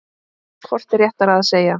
Hvort er réttara að segja